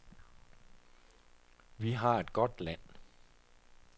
Vi har et godt land.